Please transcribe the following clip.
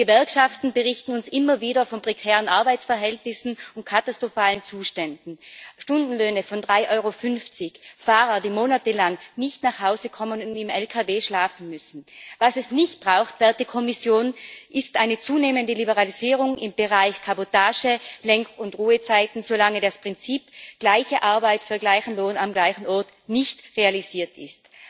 Die Gewerkschaften berichten uns immer wieder von prekären Arbeitsverhältnissen und katastrophalen Zuständen Stundenlöhne von 3,50 EUR, Fahrer, die monatelang nicht nach Hause kommen und im LKW schlafen müssen. Was es nicht braucht, werte Kommission, ist eine zunehmende Liberalisierung im Bereich Kabotage, Lenk und Ruhezeiten, solange das Prinzip gleiche Arbeit für gleichen Lohn am gleichen Ort nicht realisiert ist.